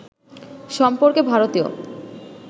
সম্পর্কে ভারতীয়